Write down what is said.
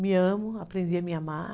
Me amo, aprendi a me amar.